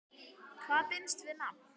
Hvað binst við nafn?